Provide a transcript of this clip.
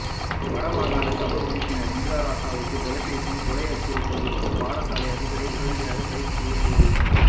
வடமாகாண சபை உறுப்பினர் இந்திரராசாவுக்கு தொலைபேசியில் கொலை அச்சுறுத்தல் விடுத்த பாடசாலை அதிபரை உடனடியாக கைது செய்யக்கோரி